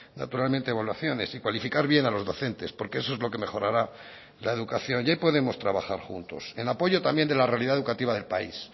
naturalmente evaluaciones y cualificar bien a los docentes porque eso es lo que mejorará la educación ya podemos trabajar juntos en apoyo también de la realidad educativa del país